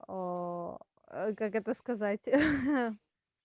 как это сказать